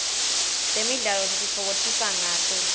temidlalo sititfokotisa ngato